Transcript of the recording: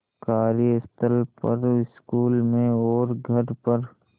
कार्यस्थल पर स्कूल में और घर पर